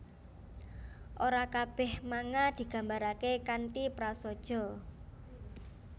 Ora kabèh manga digambaraké kanthi prasaja